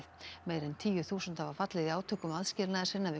meira en tíu þúsund hafa fallið í átökum aðskilnaðarsinna við